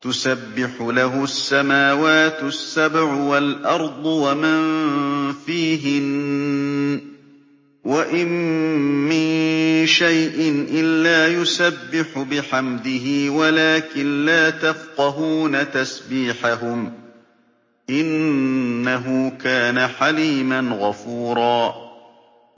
تُسَبِّحُ لَهُ السَّمَاوَاتُ السَّبْعُ وَالْأَرْضُ وَمَن فِيهِنَّ ۚ وَإِن مِّن شَيْءٍ إِلَّا يُسَبِّحُ بِحَمْدِهِ وَلَٰكِن لَّا تَفْقَهُونَ تَسْبِيحَهُمْ ۗ إِنَّهُ كَانَ حَلِيمًا غَفُورًا